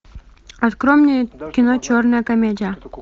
открой мне кино черная комедия